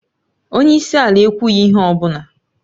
Onye isi ala ekwughị ihe ọ bụla